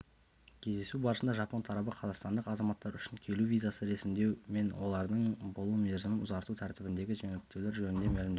кездесу барысында жапон тарабы қазақстандық азаматтар үшін келу визасын ресімдеу мен олардың болу мерзімін ұзарту тәртібіндегі жеңілдетулері жөнінде мәлімдеді